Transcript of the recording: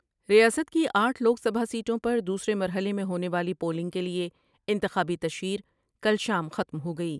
ریاست کی آٹھ لوگ سمجھاسیٹوں پر دوسرے مرحلے میں ہونے والی پولنگ کے لئے انتخابی تشہیر کل شام ختم ہو گئی ۔